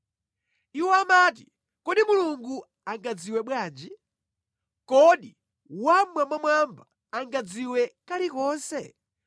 Iwo amati, “Kodi Mulungu angadziwe bwanji? Kodi Wammwambamwamba angadziwe kalikonse?”